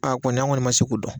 A a kɔni an kɔni ma se k'o dɔn.